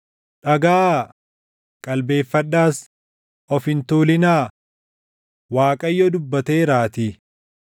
Dhagaʼaa; qalbeeffadhaas; of hin tuulinaa; Waaqayyo dubbateeraatii.